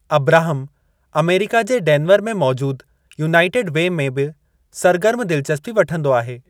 Abraham America जे Denver में मौजूद यूनाइटेड वे में बि सरगर्मु दिलचस्पी वठंदो आहे।